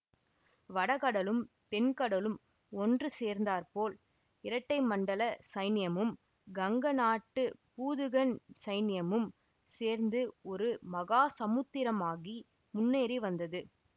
வட கடலும் தென் கடலும் ஒன்று சேர்ந்தாற்போல் இரட்டை மண்டல சைன்யமும் கங்க நாட்டுப் பூதுகன் சைன்யமும் சேர்ந்து ஒரு மகா சமுத்திரமாகி முன்னேறி வந்தது